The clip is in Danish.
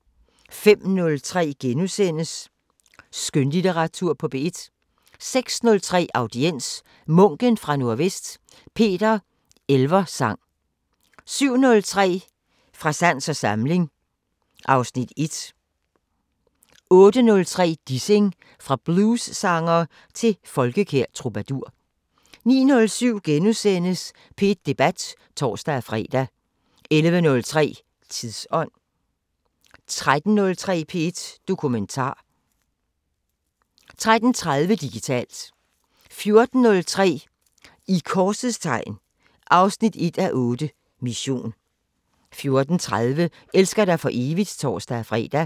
05:03: Skønlitteratur på P1 * 06:03: Audiens: Munken fra Nordvest – Peter Elversang 07:03: Fra sans og samling (Afs. 1) 08:03: Dissing – fra bluessanger til folkekær troubadour 09:07: P1 Debat *(tor-fre) 11:03: Tidsånd 13:03: P1 Dokumentar 13:30: Digitalt 14:03: I korsets tegn 1:8 – Mission 14:30: Elsker dig for evigt (tor-fre)